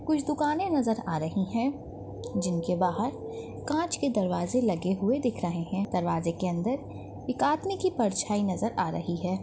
कुछ दुकाने नज़र आ रही हैं जिनके बाहर कांच के दरवाजे लगे हुए दिख रहे हैं दरवाजे के अंदर एक आदमी की परछाई नज़र आ रही हैं।